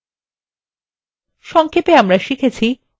সংক্ষেপে আমরা শিখেছি: